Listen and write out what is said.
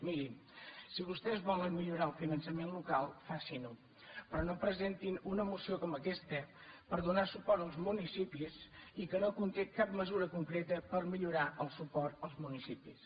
mirin si vostès volen millorar el finançament local facin ho però no presentin una moció com aquesta per donar suport als municipis i que no conté cap mesura concreta per millorar el suport als municipis